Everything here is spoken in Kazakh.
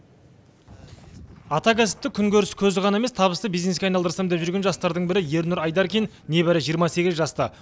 атакәсіпті күнкөріс көзі ғана емес табысты бизнеске айналдырсам деп жүрген жастардың бірі ернұр айдаркин небәрі жиырма сегіз жаста